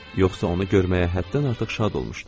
Yoxsa onu görməyə həddən artıq şad olmuşdum.